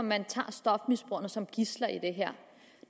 man tager stofmisbrugerne som gidsler i det her